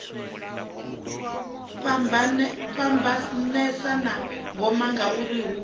fhambanesa na ngoma ngauri hu